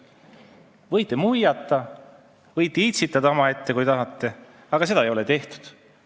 Võite muiata, võite omaette itsitada, kui tahate, aga seda ei tehtud.